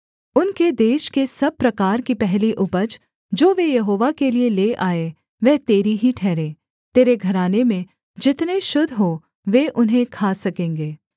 उनके देश के सब प्रकार की पहली उपज जो वे यहोवा के लिये ले आएँ वह तेरी ही ठहरे तेरे घराने में जितने शुद्ध हों वे उन्हें खा सकेंगे